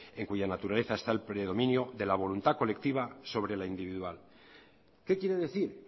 en cuya naturaleza está el predominio de la voluntad colectiva sobre la individual qué quiere decir